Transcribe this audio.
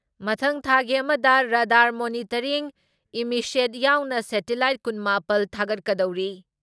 ꯃꯊꯪ ꯊꯥꯒꯤ ꯑꯃꯗ ꯔꯗꯥꯔ ꯃꯣꯅꯤꯇꯔꯤꯡ ꯏꯃꯤꯁꯦꯠ ꯌꯥꯎꯅ ꯁꯦꯇꯤꯂꯥꯏꯠ ꯀꯨꯟ ꯃꯥꯄꯜ ꯊꯥꯒꯠꯀꯗꯧꯔꯤ ꯫